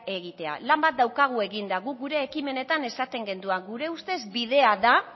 egitea lan bat daukagu eginda guk gure ekimenetan esaten genuen gure ustez bidea da